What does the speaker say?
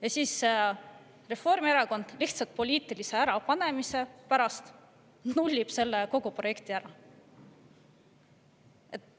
Ja siis Reformierakond lihtsalt poliitilise ärapanemise pärast nullis kogu selle projekti ära.